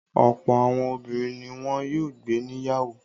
Ọ̀pọ̀ àwọn obìnrin ni wọn yóò gbé níyàwó.